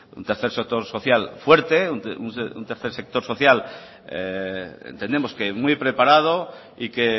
un tercer sector social fuerte un tercer sector social entendemos que muy preparado y que